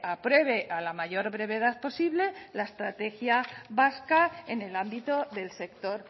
apruebe a la mayor brevedad posible la estrategia vasca en el ámbito del sector